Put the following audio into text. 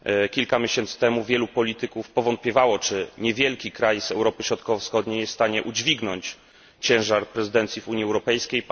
Kilka miesięcy temu wielu polityków powątpiewało, czy niewielki kraj Europy Środkowo Wschodniej jest w stanie udźwignąć ciężar przewodnictwa Unii Europejskiej.